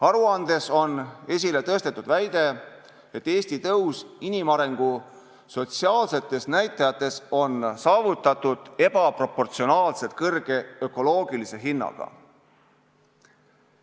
Aruandes on esile tõstetud väide, et Eesti tõus inimarengu sotsiaalsete näitajate poolest on saavutatud ebaproportsionaalselt kõrge ökoloogilise hinnaga.